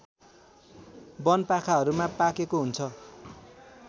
वनपाखाहरूमा पाकेको हुन्छ